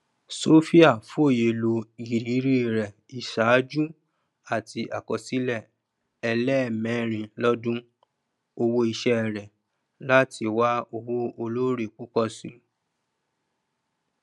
sophia fòye ló iìrírí rẹ ìṣáájú àti àkọsílẹ ẹlẹẹmẹrin lọdún owó iṣẹ rẹ láti wá òwò olóore púpọ si